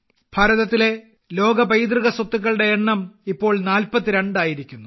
ഭാരതത്തിലെ ലോക പൈതൃക സ്വത്തുക്കളുടെ എണ്ണം ഇപ്പോൾ 42 ആയിരിക്കുന്നു